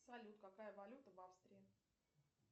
салют какая валюта в австрии